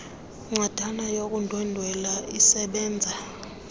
ncwadana yokundwendwela isebenza